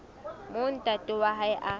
moo ntate wa hae a